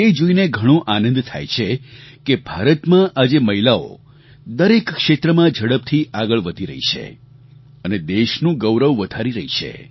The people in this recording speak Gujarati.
એ જોઈને ઘણો આનંદ થાય છે કે ભારતમાં આજે મહિલાઓ દરેક ક્ષેત્રમાં ઝડપથી આગળ વધી રહી છે અને દેશનું ગૌરવ વધારી રહી છે